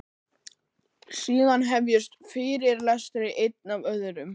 Síðan hefjast fyrirlestrar, einn af öðrum.